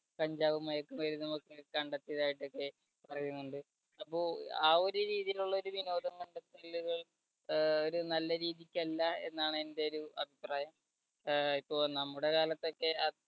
കഞ്ചാവും മയക്കുമരുന്ന് ഒക്കെ കണ്ടെത്തിയതായിട്ട് ഒക്കെ അറിയുന്നുണ്ട്. അപ്പോ ആ ഒരു രീതിയിലുള്ള ഒരു വിനോദം കണ്ടെത്തലുകൾ ഒരു നല്ല രീതിയക്ക് അല്ല എന്നാണ് എൻടെ ഒരു അഭിപ്രായം. അഹ് ഇപ്പോ നമ്മുടെ കാലത്തൊക്കെ